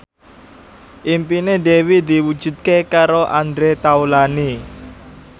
impine Dewi diwujudke karo Andre Taulany